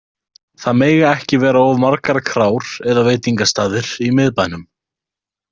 Það mega ekki vera of margar krár eða veitingastaðir í miðbænum.